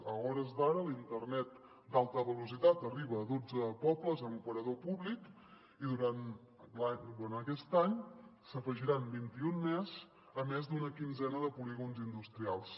a hores d’ara l’internet d’alta velocitat arriba a dotze pobles amb operador públic i durant aquest any se n’hi afegiran vint i un més a més d’una quinzena de polígons industrials